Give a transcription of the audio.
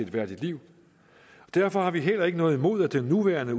værdigt liv derfor har vi heller ikke noget imod at den nuværende